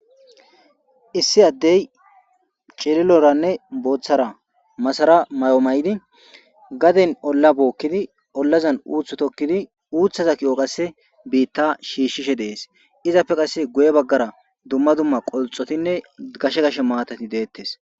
Issi addey cililoranne booththara masara may'o may'di gaden olla bookkidi ollazan uuthu tokkidi uuthaza ki'o qasse biitta shiishshishe dees izappe qasse guye baggara dumma dumma qolxotinne gashe gash maatati deettes.